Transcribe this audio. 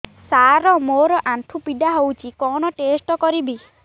ସାର ମୋର ଆଣ୍ଠୁ ପୀଡା ହଉଚି କଣ ଟେଷ୍ଟ କରିବି